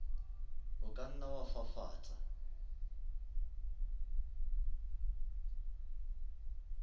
o ka nna wa fafatsa